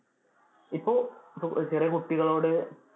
ഇപ്പൊ ചെറിയ കുട്ടികളോട്